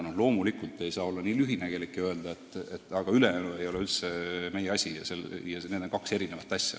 Ent loomulikult ei saa olla nii lühinägelik ja öelda, et ülejäänu ei ole üldse meie asi, et need on kaks erinevat asja.